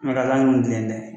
ɲɔgɔn tɛ yen dɛ